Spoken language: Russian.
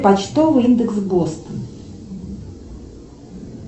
почтовый индекс бостона